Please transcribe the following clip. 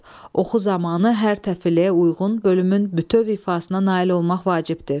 Oxu zamanı hər təfiləyə uyğun bölümün bütöv ifasına nail olmaq vacibdir.